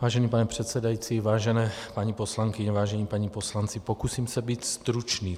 Vážený pane předsedající, vážené paní poslankyně, vážení páni poslanci, pokusím se být stručný.